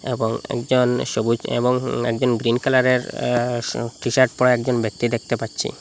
এবং একজন সবুজ এবং একজন গ্রীন কালারের এএ টিশার্ট পরে একজন ব্যক্তি দেখতে পাচ্ছি।